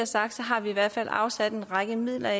sagt har vi i hvert fald afsat en række midler